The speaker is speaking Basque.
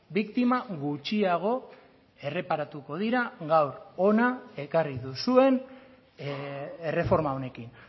biktima gutxiago erreparatuko dira gaur hona ekarri duzuen erreforma honekin